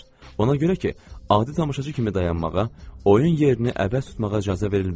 Ona görə ki, adi tamaşaçı kimi dayanmağa, oyun yerini əvəz tutmağa icazə verilmirdi.